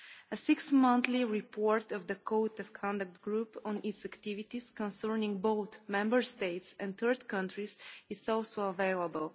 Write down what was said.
A six monthly report by the Code of Conduct Group on its activities concerning both Member States and third countries is also available.